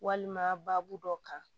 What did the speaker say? Walima baabu dɔ kan